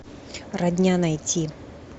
родня найти